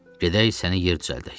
Gedək səni yer düzəldək.